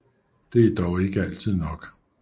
Det er dog ikke altid nok